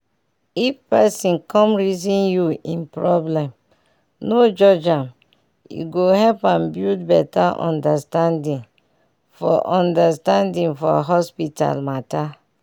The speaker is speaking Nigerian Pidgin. if person come reason you im problem no judge am e go help am build better understanding for understanding for hospital matter.